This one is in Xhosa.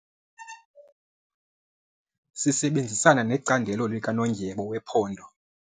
Sisebenzisana necandelo likanondyebo wephondo.